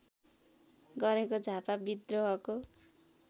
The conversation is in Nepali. गरेको झापा व्रिद्रोहको